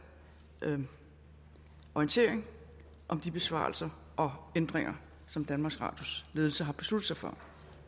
orientering om de besparelser og ændringer som danmarks radios ledelse har besluttet sig for